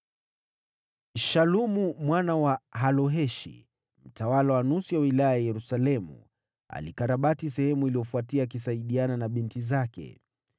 Shalumu mwana wa Haloheshi, mtawala wa nusu ya wilaya ya Yerusalemu, alikarabati sehemu iliyofuatia akisaidiwa na binti zake.